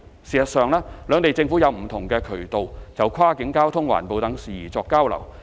事實上，兩地政府有不同渠道就跨境交通、環保等事宜作交流。